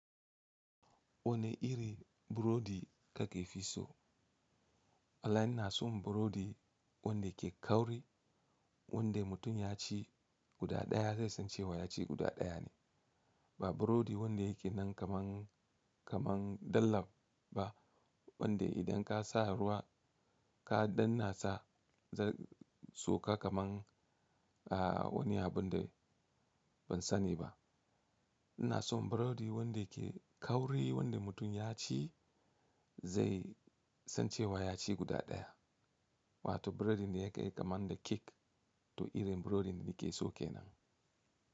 Wane iri burodi kake fi so? Alan na son burodi wanda ke kauri, wanda mutum ya ci guda ɗaya zai san cewa ya ci guda ɗaya ne. Ba burodi wanda yake nan kaman, kaman dallab ba wanda idan ka sa ruwa ka danna sa zai sauka kaman a wani abun da ban sani ba. Na son burodi wanda ke kauri wanda mutum ya ci zai san cewa ya ci guda ɗaya. Wato burodi ne yake kaman da kek to irin burodin da nake so kenan.